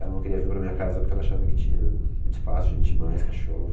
Ela não queria vir para a minha casa porque ela achava que tinha muito espaço, gente demais, cachorro...